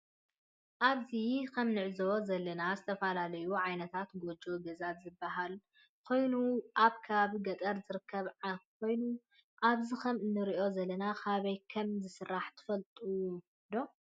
አብዚ ከም እንዕዞቦ ዘለና ዝተፈላለዩ ዓይነታት ጎጆ ገዛ ዝበ ሃል ኮይኑ አብ ከባቢ ገጠር ዝርከብ ኮይኑ አብዚ ከም እንሪዞ ዘለና ካበይ ከም ዝስራሕ ትፈለጥዎ ዶ?